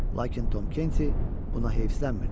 Lakin Tom Kenti buna heyfislənmirdi.